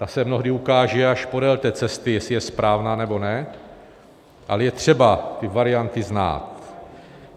Ta se mnohdy ukáže až podél té cesty, jestli je správná, nebo ne, ale je třeba ty varianty znát.